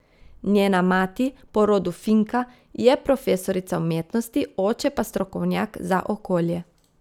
Njena mati, po rodu Finka, je profesorica umetnosti, oče pa strokovnjak za okolje.